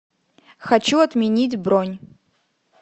хочу отменить бронь